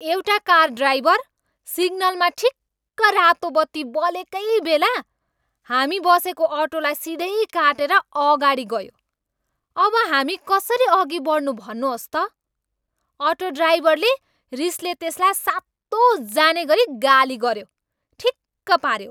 एउटा car driver सिग्नलमा ठिक्क रातो बत्ती बलेकै बेला हामी बसेको अटोलाई सिधै काटेर अगाडि गयो। अब हामी कसरी अघि बढ्नु भन्नुहोस् त! अटो ड्राइभरले रिसले त्यसलाई सातो जानेगरी गाली गऱ्यो! ठिक पाऱ्यो!